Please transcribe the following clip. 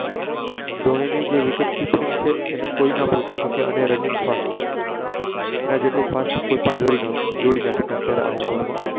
ધોની ની જે Wicket Keeping છે તેને કોઈ ના પોહોચી સકે અને Runing Fast તેના જેટલું ફાસ્ટ કોઈ દોડી ના સાકી આઉમાર માં.